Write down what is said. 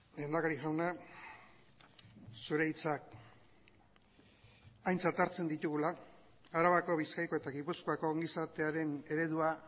lehendakari jauna zure hitzak aintzat hartzen ditugula arabako bizkaiko eta gipuzkoako ongizatearen eredua